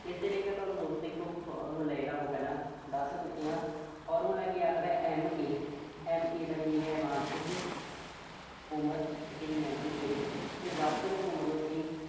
ਇਸਦੇ ਲਈ ਮੈਂ ਤੁਹਾਨੂੰ ਇੱਕ formula ਜਿਹੜਾ ਉਹ ਪਹਿਲਾਂ ਦੱਸ ਚੁੱਕਿਆਂ। formula ਕੀ ਆਖਦਾ M. A, M. A ਦਾ ਕੀ meaning ਆ, ਮਾਨਸਿਕ ਉਮਰ। ਠੀਕ ਆ ਜੀ mental age ਤੇ ਵਾਸਤਵਿਕ ਉਮਰ ਲਈ ਅਸੀਂ